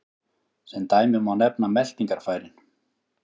Sem dæmi má nefna meltingarfærin.